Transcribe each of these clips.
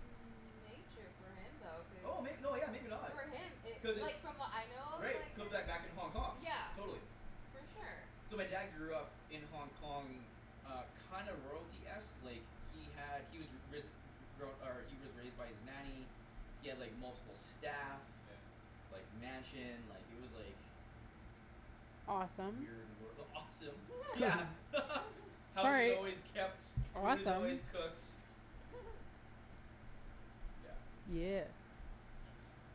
nature for him though, cuz oh may- no, yeah, maybe not. for him it, Cuz like, it's from what I know of, Right, it like, could him, back, back in Hong Kong, yeah. totally. For sure. So my dad grew up in Hong Kong uh, kinda royalty-esque, like he had, he was ri- risen, re- grown, or he was raised by his nanny he had, like, multiple staff Yeah. like, mansion, like, it was like Mhm. Awesome. weird wor- awesome. Yeah. House is Sorry. always kept, food is Awesome. always cooked. Yeah. Yeah. That's interesting.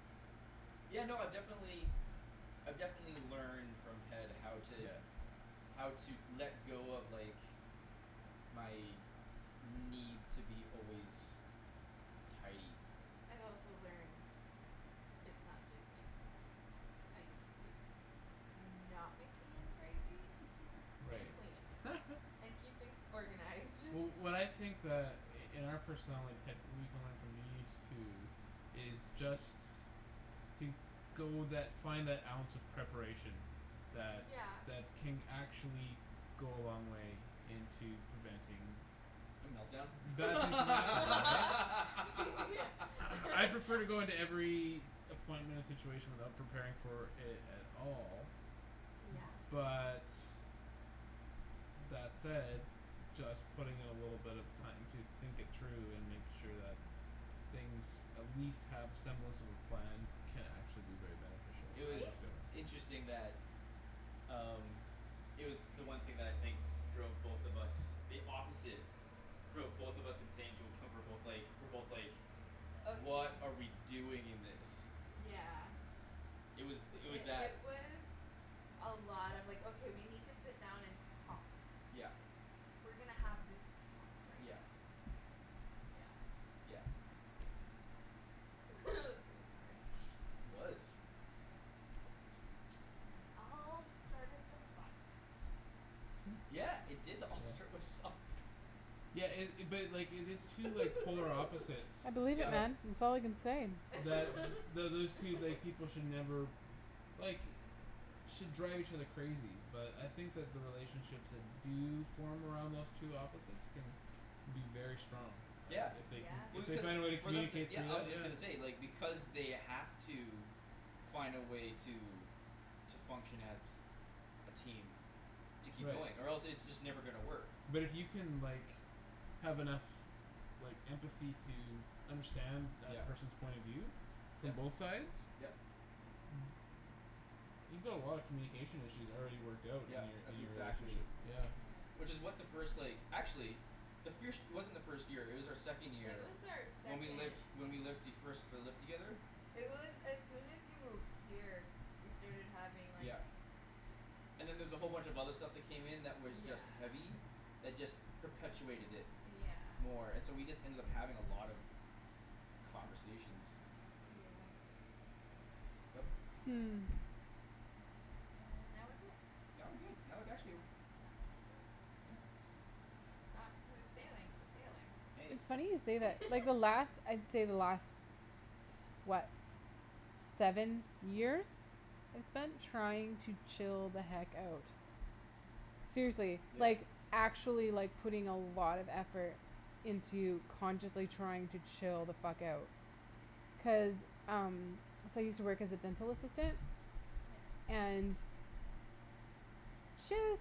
Yeah, no, I definitely. Yeah. I've definitely learned from Ped how to Yeah. how to let go of, like my need to be always tidy. I've also learned it's not just me. I need to not make Ian crazy and Right. clean and keep things organized. Wh- what I think that i- in our personality, Ped, we can learn from these two is just to go that, find that ounce of preparation that, Yeah. that can actually go a long way into preventing A melt down? right? I prefer to go into every appointment and situation without preparing for it at all Yeah. but that said just putting in a little bit of time to think it through and make sure that things at least have a semblance of a plan can actually be very beneficial, It I See? was discovered. interesting that um It was the one thing that I think drove both of us the opposite drove both of us insane to a point we're both like, we're both like Of m- "What are we doing in this?" yeah. It was, It, it was it, that. it was a lot of, like, "Okay, we need to sit down and talk." Yeah. "We're gonna have this talk right Yeah. now." Yeah. Yeah. Is It was hard. It was. And it all started with socks. Hm. Yeah, it did all Yeah? start with socks. Yeah it- it, but, like, if it's two, like polar opposites I believe it that Yep. man. It's all I can say. that th- those two, like, people should never like should drive each other crazy but I think that the relationships that do form around those two opposites can be very strong, like, Yeah. if they can, Yeah. if Well, they find a way to because for them to, communicate yeah, through I that. was just gonna say, like, because they have to find a way to to function as a team to keep Right. going or else it's just never gonna work. But it you can, like have enough like empathy to understand that Yep. person's point of view from Yep, both sides yep. you've got a lot of communication issues already worked out in Yep, your, in that's your relationship, exactly yeah. Yeah. Which is what the first, like, actually the firsht it wasn't our first year; it was our second It year was our when we second. lived, when we lived the, first, uh, lived together. It was as soon as you moved here. We started having like Yeah. And then there was a whole bunch of other stuff that came in that was Yeah. just heavy. That just perpetuated it Yeah. more and so we just ended up having a lot of conversations. Yeah. Yep. Hmm. And now we're here. Now we're good. I would actually Not smooth sailing but sailing. Hey. It's funny you say that. Like, the last, I'd say the last what seven years I spent trying to chill the heck out. Seriously, Yeah. like actually, like, putting a lot of effort into consciously trying to chill the fuck out. Cuz um So I use to work as a dental assistant Yeah. and just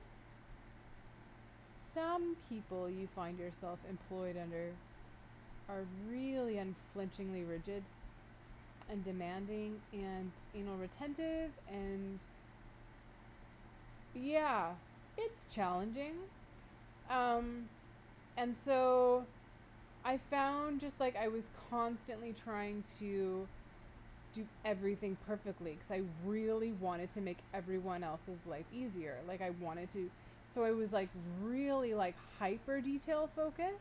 some people you find yourself employed under are really unflinchingly rigid and demanding and anal retentive and yeah, it's challenging. Um. And so I found just, like, I was constantly trying to do everything perfectly cuz I really wanted to make every one else's life easier like I wanted to so I was, like, really, like hyper detail-focused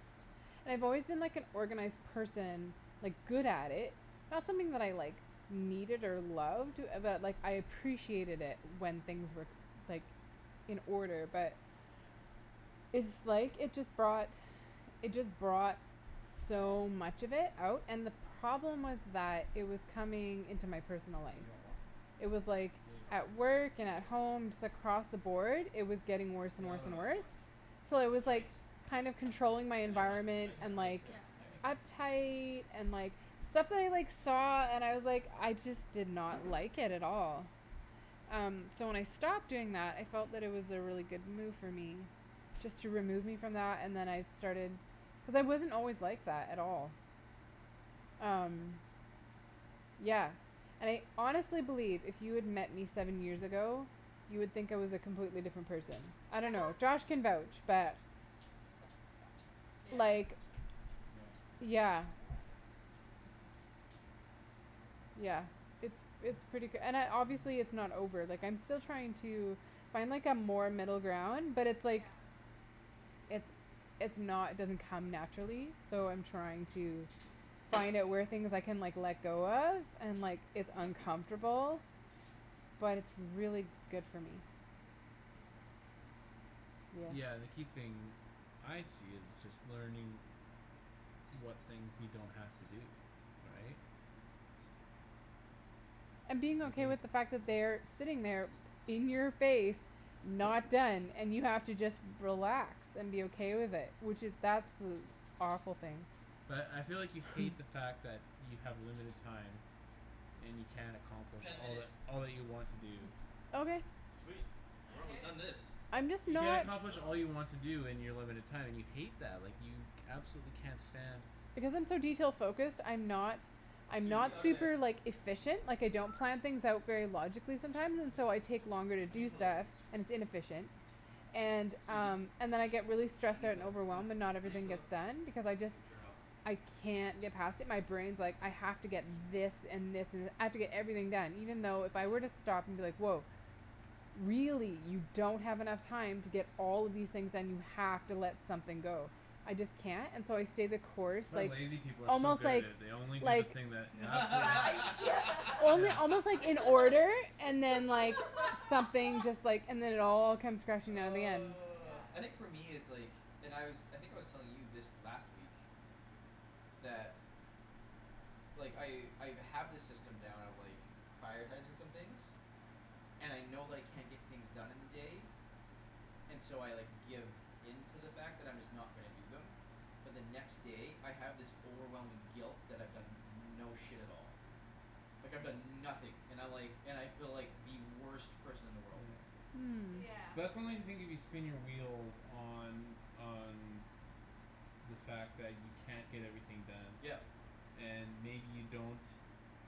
and I've always been like an organized person like, good at it not something that I, like needed or loved but, like, I appreciated it when things were, like in order but it's, like, it just brought it just brought so much of it out and the problem was that it was coming into my personal life. Dude, you want more? It was like maybe at work and at home just across the board, it was getting worse Yeah, and I'll worse have and another worse. splash. Till You I want was, like, ice? kinda controlling my Yeah, environment yeah, and, ice, like yeah, thank you. uptight and, like stuff that I, like, saw and was, like, I just did not like it at all. Um, so when I stopped doing that I felt that it was a really good move for me. Just to remove me from that and then I started Cuz I wasn't always like that at all. Um. Yeah. And I honestly believe if you had met me seven years ago you would think I was a completely different person. I don't know. Josh can vouch but Yeah. Like, Yeah. yeah. Hey, Susie bear. Yeah, it's, it's pretty k- and I, obviously it's not over, like, I'm still trying to find, like, a more middle ground but it's, like Yeah. it's, it's not, doesn't come naturally so I'm Yeah. trying to find out where things I can, like, let Oh, go shoot. of and, like, it's uncomfortable but it's really good for me. Yeah. Yeah. Yeah, and the key thing I see is just learning what things you don't have to do, right? And being okay with the fact that they are sitting there in your face not done and you have to just relax and be okay with it, which is that's li- powerful thing. But I feel like you hate the fact that you have limited time and you can't accomplish Ten all minute. that, all that you want to do. Okay. Sweet, we're almost done this. I'm just You can't not accomplish all Cool. you want to do in your limited time and you hate that. Like, you absolutely can't stand Because I'm so detail focused, I'm not I'm not Susie, out of super, there. like, efficient Like, I don't plan things out very logically sometimes and so I Yeah. take longer to On your do pillow, stuff, please. and its inefficient. And, Susie. um, and then I get really On stressed your out and pillow, come overwhelmed and on. not On your everything pillow, gets done because I just good girl. I can't get past it my brain's like, "I have to get this and this and, I have to get everything done" even though if I were to Yeah. stop and be like, "Woah. Really you don't have enough time to get all of these things done; you have to let something go." I just can't, and so I stay the course, That's why like, lazy people are so almost, good at like it; they only do the like thing that absolutely Yeah, yeah. only Yeah. almost, like, in order and then, like something just, like, and then it all comes crashing down in the end. Yeah. Oh, I think for me it's like And I was, I think I was telling you this last week that like, I, I've, have this system down of, like prioritizing some things and I know that I can't get things done in the day and so I, like, give in to the fact that I'm just not gonna do them but the next day, I have this overwhelming guilt that I've done no shit at all like, I've Ye- done nothing and I, like, and I feel like the worst person in the world. Yeah. Hmm. Yeah. But that's only the thing if you spin your wheels on, on the fact that you can't get everything done Yep. and maybe you don't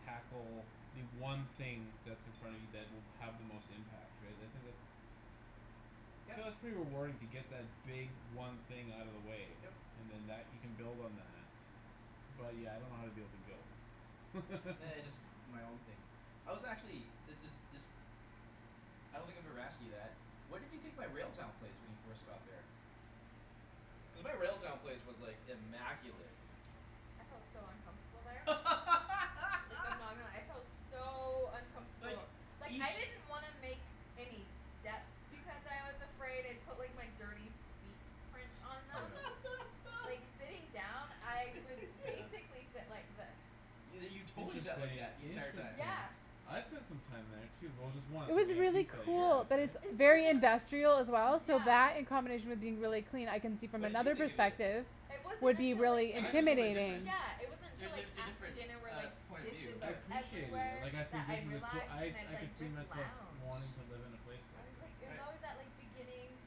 tackle the one thing that's in front of you that will have the most impact, right? I think that's Yep. So that's pretty rewarding to get that big one thing out of the way Yep. and then that, you can build on that. But, yeah, I don't know how to deal with the guilt. Nah, it's my own thing. I was actually, this is, this I don't think I've ever asked you that. What did you think my Railtown place when you first got there? Cuz my Railtown place was, like, immaculate. I felt so uncomfortable there. Like, I'm not gonna lie, I felt so Like, uncomfortable. Like, I each didn't want to make any steps because I was afraid I'd put, like, my dirty feet prints on them. Yeah. Like, sitting down, I would Yeah. basically sit like this. Yo- you totally sat like Interesting, that the entire time. interesting. Yeah. I spent some time there too, well, just It once when was we had really pizza at your Yeah. place, cool, but right? it's It's very wasn't industrial as well so Yeah. that in combination with being really clean I can see from What did you another think of it? perspective It wasn't would be until, like really I I guess it can was a little bit intimidating. different. Yeah, it wasn't Er, until, like a, a After different, dinner where, uh, like, point of view, dishes I are but appreciated it, Everywhere like, I that think this I'd is a coo- relax I, and I'd, I could like, see just myself lounge wanting to live in a place like I was, like, this. it was Right. always that, like, beginning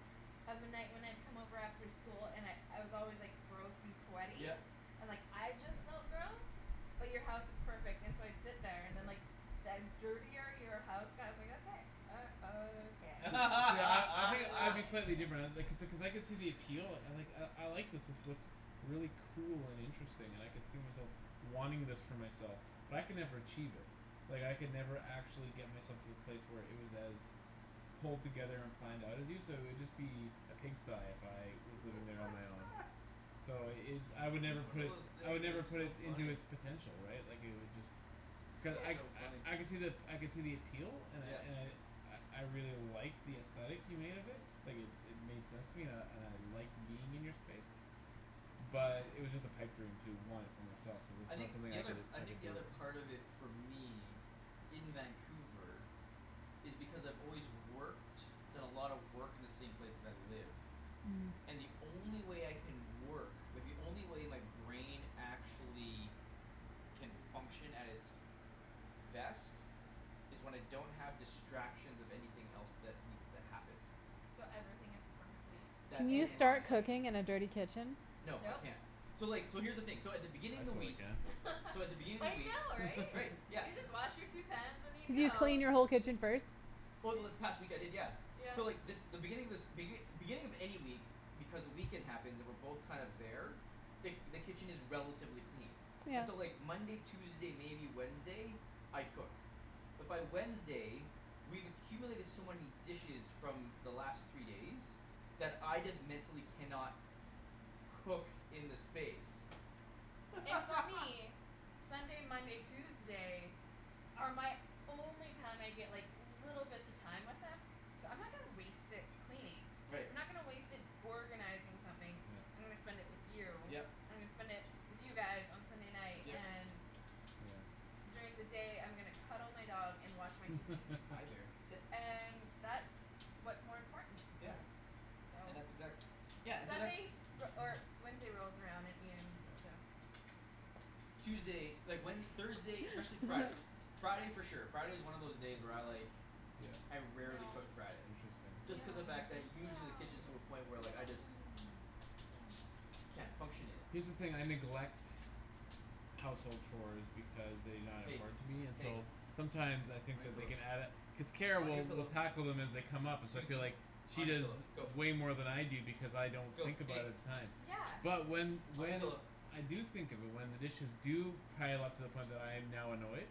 of a night when I'd come over after school and I'd, I was always, like Gross and sweaty, Yep. and, like, I just Yeah. felt gross. But you're house is perfect and so I'd sit there and then, Yeah. like the dirtier your house got, I was like, "Okay." Uh, okay. See, see, I, I think I'd be slightly different I, uh Okay. like I, I could see the appeal, like, "I, I like this; this looks really cool and interesting and I could see myself wanting this for myself." But I could never achieve it. Like, I could never actually get myself to the place where it was as pulled together and planned out as you, so it'd just be a pigsty if I was living there on my own. So it, I would Every never one put of it those s- I would things never is put so it into funny. it's potential, right? Like, it would just Cu- I, That's so funny. I, I could see the ap- I could see the appeal and I, Yeah. and I I, I really like the aesthetic you made of it. Like, it, it made sense to me and I, and I liked being in your space. Yeah. But it was just a pipe dream to want it for myself cuz it's I not think something the I other, cou- I I think could do the other it. part of it for me in Vancouver is because I've always worked done a lot of work in the same place that I live Hmm. and the only way I can work like, the only way my brain actually can function at its best is when I don't have distractions of anything else that needs to happen So everything is perfectly Can that in you in its start line. place. cooking in a dirty kitchen? No, I Nope. can't. So, like, so here's the thing, so at the beginning I of the totally week can. so at the beginning of I the week know, right. Right, You yeah. just wash your two pans and you Could you go. clean your whole kitchen first? Over this Ye- past week, I did, yeah. Yeah. So, like, this, the beginning of this begin- beginning of any week because the weekend happens, and we're both kind of there the, the kitchen is relatively clean. Yeah. And so, like, Monday, Tuesday, maybe Wednesday I cook. But by Wednesday we've accumulated so many dishes from the last three days that I just mentally cannot cook in the space. And for me Sunday, Monday, Tuesday are my only time I get, like little bits of time with him so I'm not gonna waste it cleaning. Right. I'm not gonna waste it organizing something. I'm Yeah. gonna spend it with you. Yep. I'm gonna spend it with you guys on Sunday night Yep. and Yeah. during the day I'm gonna cuddle my dog and watch my TV. Hi, there, sit. And that's what's more important to me. Yeah. Yeah. So. And that's exact- Yeah, and so that's Sunday re- or Wednesday rolls around and Ian's Yeah. just Tuesday, like, when, Thursday, especially Hi. Friday Friday for sure. Friday is one of those day where I, like Yeah. I rarely No. cook Friday. Interesting. Just cuz No, the fact that no, usually no, the kitchen is to a no, Yeah. point where, no, like, I just no, no, no. Down. can't function in it. Here's the thing; I neglect household chores because they not Hey, important to me and hey. so sometimes I On think your that they pillow, can add a cuz Kara on your will, will pillow. tackle them as they come up and so I feel like Susie. she On your does pillow, go. way more than I do because I don't Go. think about it Hey. at the time. Yeah. But when, On your when pillow. I do think of it, when the dishes do pile up to the point when I'm now annoyed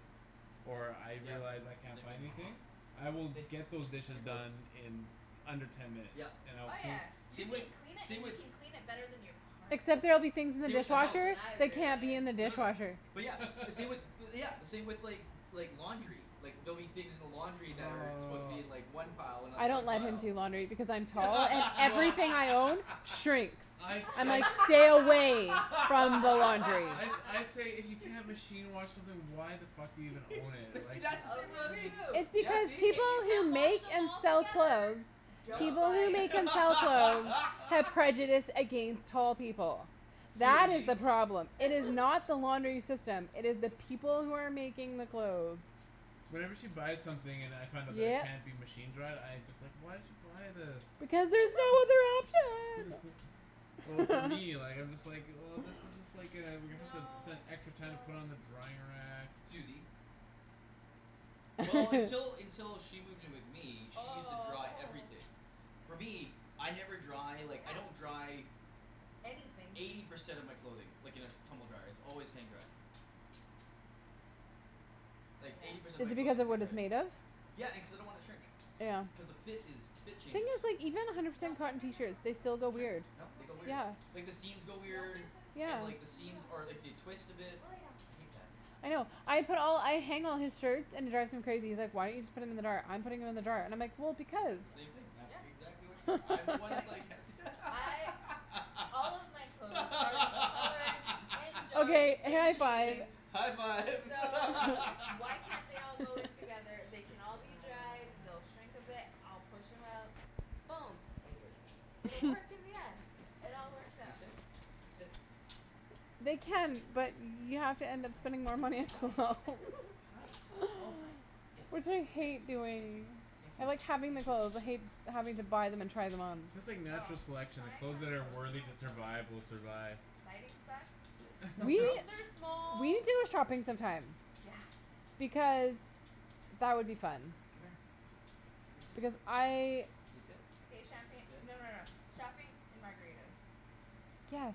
or I Yep, realize I can't same find thing. anything I will get those Hey, on dishes your pillow. done in under ten minutes Yep, and I will Oh, clean yeah. You same with, can clean it same and you with can clean it better than your partner. Except there'll be things in the same with the That's house. what dishwasher I that can't be in realized. the No, no. dishwasher. But yeah, the same with bu- yeah, the same with, like like, laundry. Like, there'll be things in the laundry that are supposed to be in, Aw like, one pile and not I the other don't let him pile. do laundry because I'm tall and Well everything I own shrinks. I, I'm I like, "Stay away from the laundry." I sa- I say, "If you can't machine wash something why the fuck are you gonna own it?" But see, Like that's the same Also with true It's me. Yeah, because see? if people you can't who wash make them and all sell together. clothes Don't No. people buy who make it. and sell clothes have prejudice against tall people. That is Susie. the problem. It is not the laundering system; it is the people who are making the clothes. Whenever she buys something and I find out that it Yep. can't be machine-dried, I just, like, "Why did you buy this?" Because there's no other option. Well, for me, like, I'm just like, "Well, this is just, like, uh we're gonna have to spend No, extra time to put it no. on the drying rack." Susie. See Well, until, until she moved in with me, she used to dry Oh, oh. everything. For me, I never dry, like, I don't Yeah. dry Anything. eighty percent of my clothing like, in a tumble dryer; its always hang-dried. Like, eighty Yeah. percent Is of it my because clothing is of what it's made of? hang-dried. Yeah, and cuz I don't wanna shrink. Yeah. Cuz the fit is, the fit Thing changes. is, like, even a hundred Nope, percent no, cotton no, no, t-shirts, no. Don't, they still go Shrink. weird. don't, No, no they go weird. kisses. Yeah. Like the seams go No weird kisses. Yeah. and, like, the seams, No. or, like, they twist a bit. Go lay down. I hate that. I know. I put all, I hang all his shirts, and it drives him crazy; he's like, "Why don't you just put them in the dryer? I'm putting them in the dryer" and I'm like, "Well, S- because." that's the same thing; that Yeah, yeah. exactly what you do. I'm the one Be that's like like ha- I All of my clothes are colored and dark Okay, and high five. jeans. High five. So why can't they all go in together? They can all be dried, Ah. they'll shrink a bit, I'll push 'em out. Boom. Hi, bear, It'll come work here. in the end. It all Come here. works Can you out. sit? Sit. They Good can, girl. but you have to end up Hi, spending more yeah, money on hi. clothes. Hi, oh, hi. Yes, Which I hate yes, thank doing. you. Thank I you, like having the thank you. clothes. I hate having to buy them and try them on. It's just like Oh, natural selection; the tying clothes on that are toes is the worthy to worst. survive will survive. Lighting sucks. Sit. The We, rooms are we small, need to go it shopping some time. Yeah. Because that would be fun. Come here. Because I Can you sit? Okay, champagne, Sit. no, no, no, shopping and margaritas. Good girl. Yes.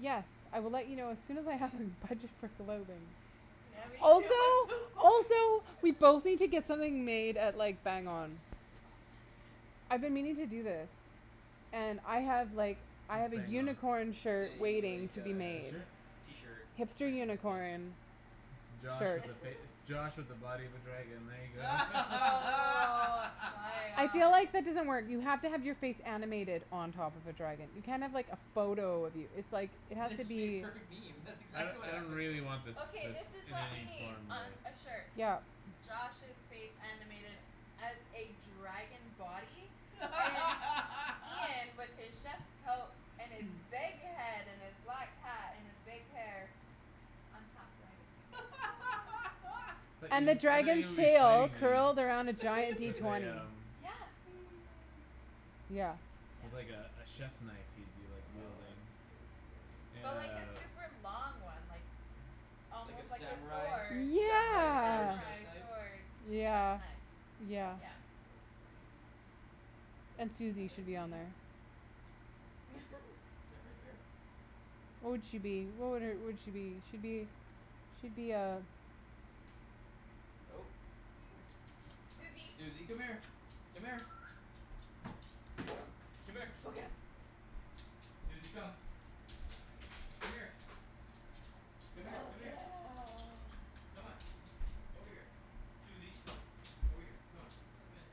Yes, I will let you know as soon as I have Hey. a budget for clothing. Yeah, me too. I'm so Also, poor. also we both need to get something made at, like Bang On. Oh, fuck, I've yes. been meaning to do this. And I have, like I What's have a Bang On? unicorn shirt Say, waiting like to be uh, made. t-shirts? t-shirt Hipster printing company. unicorn It's Josh shirt. with a fac- it's Josh with a body of a dragon, there you go. Oh, my I feel god. like that doesn't work. You have to have your face animated on top of a dragon. You can't have like a photo of you. It's like, it has Then to it should be a be perfect meme; that's I don- exactly what I don't happens. really want this, Okay, this this is in what we any need form, really. on a shirt. Yep. Josh's face animated as a dragon body and Ian with his chef's coat and his big head and his black hat and his big hair on top riding his I thought And the you, I thought you would dragon's be tail fighting me, curled around a giant D with a twenty. um Yeah. Yeah. Yeah. with, like, a, a chiefs knife you'd be Oh, wielding. that's so funny. And But like a uh super long one, like Like a almost like a sword. samurai? A Samurai sword Yeah. chef's samurai knife? sword. A che- chef's Yeah, knife, yeah. yeah. That's so funny. And All Susie should right, be on Susie. there. Is that right, bear? What would she be? What would her, would she be? She'd be she'd be a Oh. Susie. Susie, come here. Come here. Go. Come here. Go get 'em. Susie, come. Come here. Come here, Go come here. get 'em. Come on. Over here. Susie. Over here. Come on. Let them in.